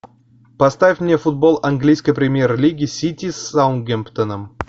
поставь мне футбол английской премьер лиги сити с саутгемптоном